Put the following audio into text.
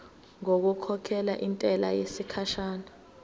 ngokukhokhela intela yesikhashana